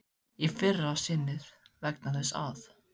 Í fyrra sinnið vegna þess að